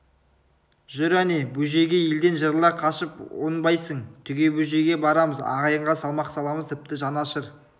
жүр әне бөжейге елден жырыла қашып оңбайсың түге бөжейге барамыз ағайынға салмақ саламыз тіпті жан ашыр